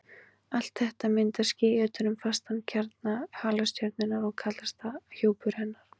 Allt þetta myndar ský utan um fastan kjarna halastjörnunnar og kallast það hjúpur hennar.